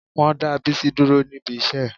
Wọ́n dá Bísí dúró níbi iṣẹ́ ẹ̀